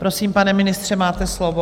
Prosím, pane ministře, máte slovo.